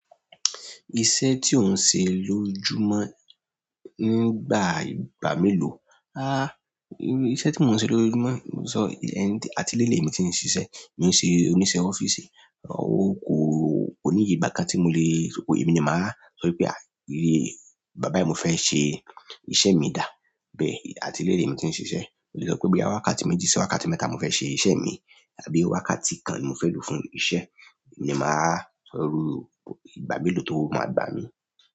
Iṣẹ́ tí ó ń ṣe lójúmọ́ nígbà ìgbà mélòó? Ah, iṣẹ́ tí mò ń ṣe lójúmọ́, mo sọ atile le mi tí ń ṣiṣẹ́, mò ń ṣe oníṣẹ́ ọ́fíìsì, ó kó ó níye ìgbà kan tí mo le, ko èmi ni màá sọ wípé àí, ìyè ìgbà bái ni mo fẹ́ ṣe iṣẹ́ mi dàá bẹ́ẹ̀, atile le mi tí ń ṣiṣẹ́. Mo lè sọ pé bí i wákàtí méjì sí wákàtí mẹ́ta mo fẹ́ ṣe iṣẹ́ mi tàbí wákàtí kan mo fẹ́ lò fún iṣẹ́, èmi ni màá sọrú ìgbà mélòó tó máa gbà mí.